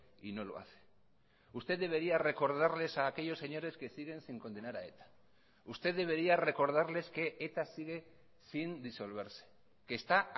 y no lo hace usted debería recordarles a aquellos señores que siguen sin condenar a eta usted debería recordarles que eta sigue sin disolverse que está